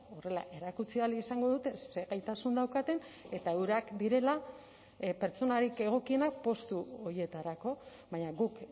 horrela erakutsi ahal izango dute ze gaitasun daukaten eta eurak direla pertsonarik egokienak postu horietarako baina guk